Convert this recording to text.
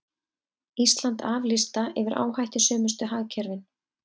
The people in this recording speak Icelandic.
Ísland af lista yfir áhættusömustu hagkerfin